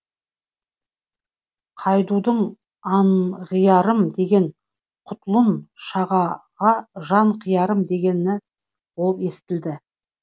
қайдудың анғиарым дегені құтлұн шагаға жан қиярым болып естілді